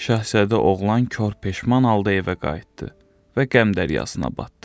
Şahzadə oğlan kor peşman halda evə qayıtdı və qəm dəryasına batdı.